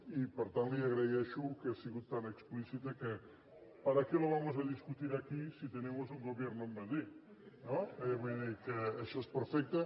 i per tant li agraeixo que hagi estat tan explícita que para qué lo vamos a discutir aquí si tenemos un gobierno en madrid no vull dir que això és perfecte